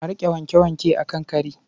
A riƙa wanke-wanke a kan kari.